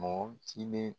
Mɔgɔ kelen